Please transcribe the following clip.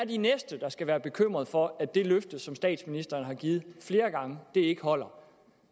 de næste der skal være bekymret for at det løfte som statsministeren har givet flere gange ikke holder